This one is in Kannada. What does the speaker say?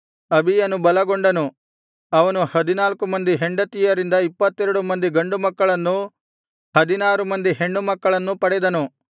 ಅಬೀಯನು ಬಲಗೊಂಡನು ಅವನು ಹದಿನಾಲ್ಕು ಮಂದಿ ಹೆಂಡತಿಯರಿಂದ ಇಪ್ಪತ್ತೆರಡು ಮಂದಿ ಗಂಡುಮಕ್ಕಳನ್ನೂ ಹದಿನಾರು ಮಂದಿ ಹೆಣ್ಣುಮಕ್ಕಳನ್ನೂ ಪಡೆದನು